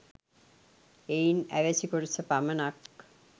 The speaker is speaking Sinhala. එයින් අවැසි කොටස පමණක්